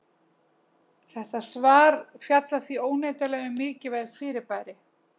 Þetta svar fjallar því óneitanlega um mikilvæg fyrirbæri!